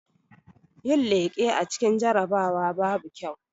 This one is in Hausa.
Yin leƙe a cikin jarabawa babu kyau